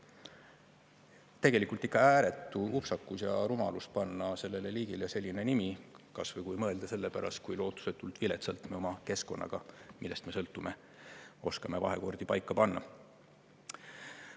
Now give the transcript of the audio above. Tegelikult on ikka ääretu upsakus ja rumalus panna sellele liigile selline nimi, kas või, kui mõelda, selle pärast, kui lootusetult viletsalt me oma keskkonnaga, millest me sõltume, oskame vahekordi paika panna.